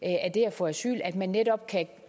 få asyl at man netop kan